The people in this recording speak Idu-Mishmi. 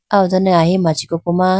aw done ahi machi koko ma.